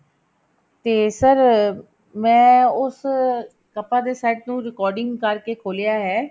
ਤੇ sir ਮੈਂ ਉਸ ਕੱਪਾਂ ਦੇ set ਨੂੰ recording ਕਰਕੇ ਖੋਲਿਆ ਹੈ